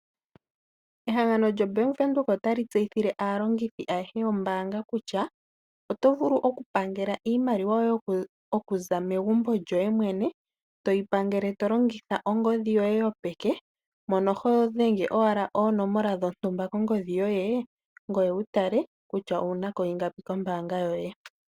Ehangano lyombaanga ya Windhoek otali tseyithile aalongithi ayehe yombaanga kutya, oto vulu okupangela iimaliwa yoye okuza megumbo lyoye mwene, toyi pangele tolongitha ongodhi yoye yopeke, mono hodhenge owala oonomola dhontumba kongodhi yoye, ngoye wutale kutya owunako iingapi kombaanga yoye.